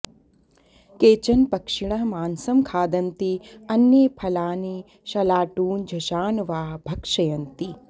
केचन पक्षिणः मांसं खादन्ति अन्ये फलानि शलाटून् झषान् वा भक्षयन्ति